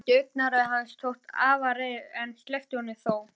Hún mætti augnaráði hans, ævareið, en sleppti honum þó.